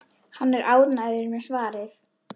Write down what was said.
Hann er ánægður með svarið.